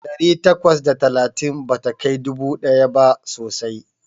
Ɗari takwas da talatin bata kai dubu ɗaya ba sosai.